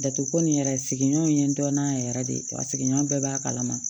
Datuguko nin yɛrɛ sigiɲɔgɔnw ye n dɔnna yɛrɛ yɛrɛ de a sigiɲɔgɔn bɛɛ b'a kalama